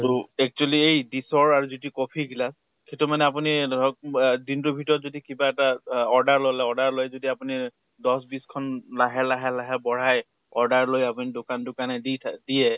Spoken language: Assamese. তʼ actually যিটো coffee গিলাছ, সেইটো মানে আপুনি ধৰক বা দিনটোৰ ভিতৰত যদি কিবা কৰি অ order লʼলে । order লৈ যদি আপুনি দছ বিছ খন লাহে লাহে লাহে বঢ়াই, order লৈ আপুনি দোকানে দোকানে দি থ দিয়ে